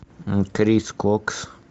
крис кокс